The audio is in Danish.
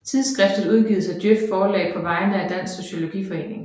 Tidsskriftet udgives af DJØF Forlag på vegne af Dansk Sociologiforening